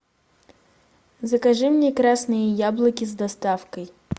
закажи мне красные яблоки с доставкой